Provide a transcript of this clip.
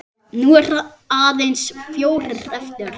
Nú eru aðeins fjórir eftir.